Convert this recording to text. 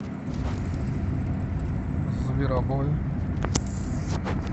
зверобой